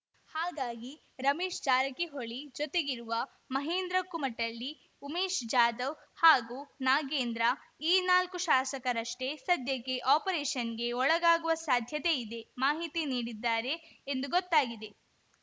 ಹಾಗಾಗಿ ರಮೇಶ್‌ ಜಾರಕಿಹೊಳಿ ಜೊತೆಗಿರುವ ಮಹೇಶ್‌ ಕುಮಟಳ್ಳಿ ಉಮೇಶ್‌ ಜಾದವ್‌ ಹಾಗೂ ನಾಗೇಂದ್ರ ಈ ನಾಲ್ಕು ಶಾಸಕರಷ್ಟೇ ಸದ್ಯಕ್ಕೆ ಆಪರೇಷನ್‌ಗೆ ಒಳಗಾಗುವ ಸಾಧ್ಯತೆ ಇದೆ ಮಾಹಿತಿ ನೀಡಿದ್ದಾರೆ ಎಂದು ಗೊತ್ತಾಗಿದೆ